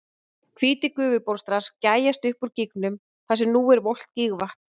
Hvítir gufubólstrar gægjast upp úr gígnum þar sem nú er volgt gígvatn.